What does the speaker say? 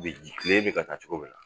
U bɛ ji kile in bi ka taa cogo min